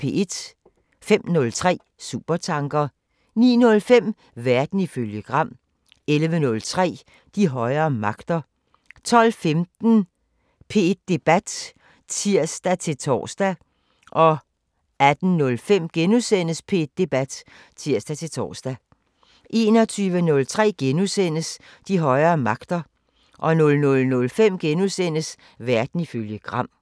05:03: Supertanker 09:05: Verden ifølge Gram 11:03: De højere magter 12:15: P1 Debat (tir-tor) 18:05: P1 Debat *(tir-tor) 21:03: De højere magter * 00:05: Verden ifølge Gram *